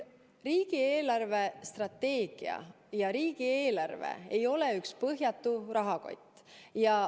Riigi eelarvestrateegia ja riigieelarve ei ole üks põhjatu rahakott.